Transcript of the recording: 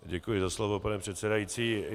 Děkuji za slovo, pane předsedající.